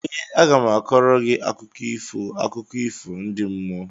Ee, aga m a kọọrọ gị akụkọ ifo akụkọ ifo ndị mmụọ